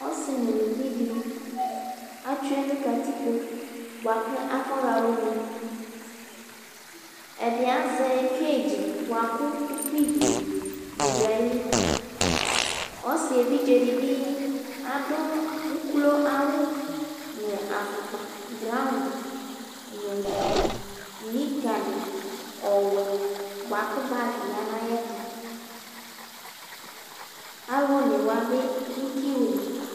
Ɔsɩ nʊlɩvɩ dɩ atsʊe nʊ katɩkpo bʊakʊ afɔ ya ʊne Ɛdɩ azɛ kadze bʊakʊ ʊkpɩvɩʊ nɩ dʊ aƴɩlɩ Ɔsɩ evɩdze dɩbɩ adʊ ʊklo awʊ nʊ afʊkpa braɔn dɩ nʊ mɩka dɩ ɔwɛ bʊakʊ bagɩ ɔƴa naƴɛtʊ Alʊ onewa bɩ dʊ kɩwʊlɩ